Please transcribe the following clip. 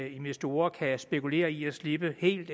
investorer kan spekulere i at slippe helt